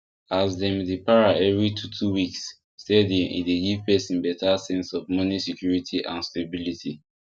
as dem dey pay every twotwo weeks steady e dey give person better sense of money security and stability